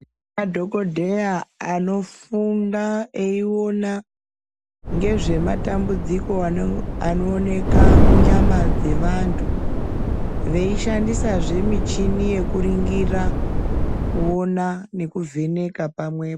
Madhokoteya anofunda eyiona ngezve matambudziko anooneka munyama dzavantu veishandisa zve michini yekuringira kuona nekuvheneka pamwe po .